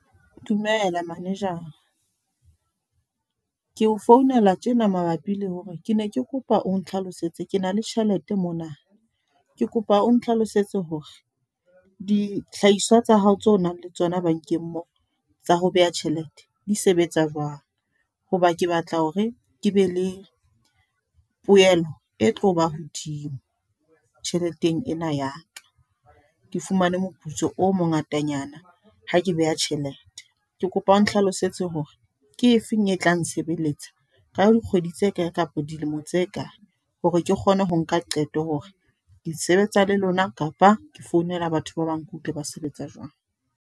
Dumela Manejara. Ke o founela tjena mabapi le hore ke ne ke kopa o nhlalosetse ke na le tjhelete mona. Ke kopa o nhlalosetse hore dihlahiswa tsa hao tso nang le tsona bankeng moo tsa ho beha tjhelete di sebetsa jwang. Hoba ke batla hore ke be le poelo e tloba hodimo tjheleteng ena ya ka. Ke fumane moputso o mongatanyana ha ke beha tjhelete. Ke kopa o nhlalosetse hore ke efeng e tla nsebeletsa ka dikgwedi tse kae kapa dilemo tse kae, hore ke kgone ho nka qeto hore ke sebetsa le lona, kapa ke founela batho ba bang, ke utlwe ba sebetsa jwang?